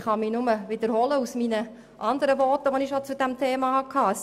Ich kann nur wiederholen, was ich schon in anderen Voten zu diesem Thema gesagt habe: